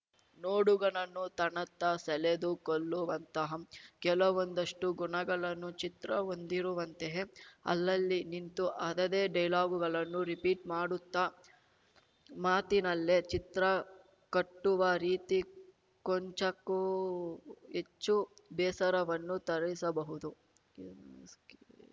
ನೋಡುಗನನ್ನು ತನ್ನತ್ತ ಸೆಳೆದುಕೊಳ್ಳುವಂತಹ ಕೆಲವೊಂದಷ್ಟುಗುಣಗಳನ್ನು ಚಿತ್ರ ಹೊಂದಿರುವಂತೆಯೇ ಅಲ್ಲಲ್ಲಿ ನಿಂತು ಅದದೇ ಡೈಲಾಗುಗಳನ್ನು ರಿಪೀಟ್‌ ಮಾಡುತ್ತಾ ಮಾತಿನಲ್ಲೇ ಚಿತ್ರ ಕಟ್ಟುವ ರೀತಿ ಕೊಂಚಕ್ಕೂ ಹೆಚ್ಚು ಬೇಸರವನ್ನು ತರಿಸಬಹುದು